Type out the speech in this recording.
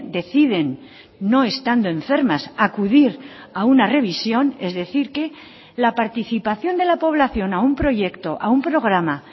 deciden no estando enfermas acudir a una revisión es decir que la participación de la población a un proyecto a un programa